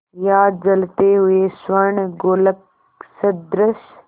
या जलते हुए स्वर्णगोलक सदृश